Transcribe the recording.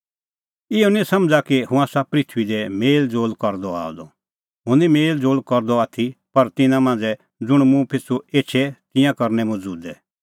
इहअ निं समझ़ा कि हुंह आसा पृथूई दी मेल़ज़ोल़ करदअ आअ द हुंह निं मेल़ज़ोल़ करदअ आथी पर तिन्नां मांझ़ै ज़ुंण मुंह पिछ़ू एछे तिंयां करनै मुंह ज़ुदै